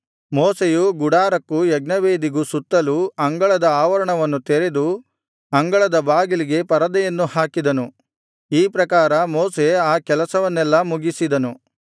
ಮೋಶೆಯು ಗುಡಾರಕ್ಕೂ ಯಜ್ಞವೇದಿಗೂ ಸುತ್ತಲು ಅಂಗಳದ ಆವರಣವನ್ನು ತೆರೆದು ಅಂಗಳದ ಬಾಗಿಲಿಗೆ ಪರದೆಯನ್ನು ಹಾಕಿದನು ಈ ಪ್ರಕಾರ ಮೋಶೆ ಆ ಕೆಲಸವನ್ನೆಲ್ಲಾ ಮುಗಿಸಿದನು